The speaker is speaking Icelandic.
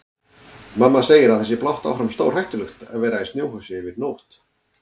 Mamma segir að það sé blátt áfram stórhættulegt að vera í snjóhúsi yfir nótt.